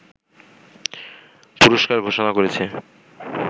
পুরস্কার ঘোষণা করেছে